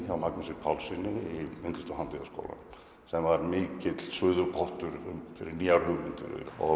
hjá Magnúsi Pálssyni í myndlista og handíðaskólanum sem var mikill suðupottur fyrir nýjar hugmyndir